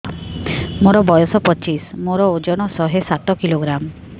ମୋର ବୟସ ପଚିଶି ମୋର ଓଜନ ଶହେ ସାତ କିଲୋଗ୍ରାମ